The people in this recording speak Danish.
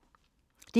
DR2